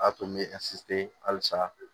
A tun bɛ halisa